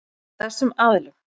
Af þessum aðilum.